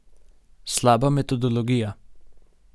Slaba metodologija.